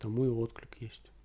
там мой отклик есть